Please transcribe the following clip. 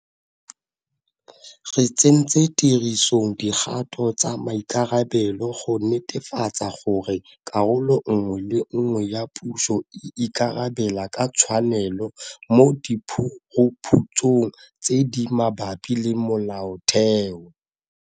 Re tsentse tirisong dikgato tsa maikarabelo go netefatsa gore karolo nngwe le nngwe ya puso e ikarabela ka tshwanelo mo diphuruphutsong tse di mabapi le molaotheo.